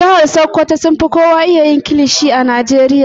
Jihar sokoto sun fi kowa iya yin kilishi a Najeriya.